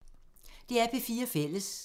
DR P4 Fælles